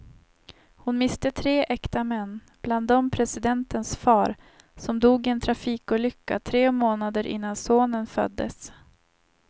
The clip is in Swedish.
Hon miste tre äkta män, bland dem presidentens far, som dog i en trafikolycka tre månader innan sonen föddes.